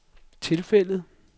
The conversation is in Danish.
tilfældet